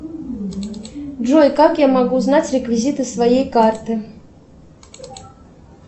джой как я могу узнать реквизиты своей карты